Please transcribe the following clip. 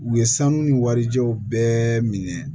U ye sanu ni warijɛw bɛɛ minɛ